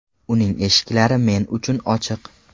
Uning eshiklari men uchun ochiq.